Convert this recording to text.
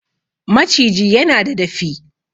Maciji yana da dafi